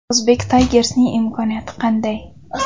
Uzbek Tigers’ning imkoniyati qanday?